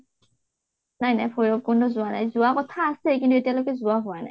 নাই নাই ভৈৰাবকুন্দ যোৱা নাই। যোৱাৰ কথা আছে কিন্তু আতিয়ালৈকে যোৱা হোৱা নাই